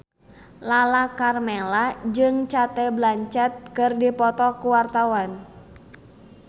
Lala Karmela jeung Cate Blanchett keur dipoto ku wartawan